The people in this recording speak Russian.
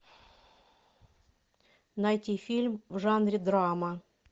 найти фильм в жанре драма